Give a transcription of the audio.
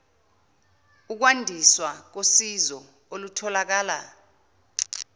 ukwandiswa kosizo olutholakala